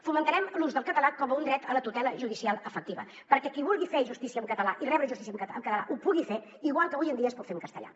fomentarem l’ús del català com un dret a la tutela judicial efectiva perquè qui vulgui fer justícia en català i rebre justícia en català ho pugui fer igual que avui en dia es pot fer en castellà